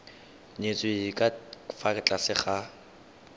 nyetswe ka fa tlase ga